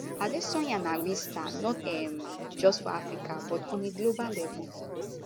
adesanya na real star not um just for africa but on a global level